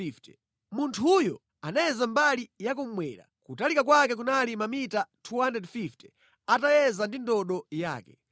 Munthuyo anayeza mbali yakummwera; kutalika kwake kunali mamita 250 atayeza ndi ndodo yake.